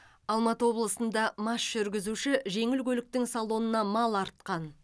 алматы облысында мас жүргізуші жеңіл көліктің салонына мал артқан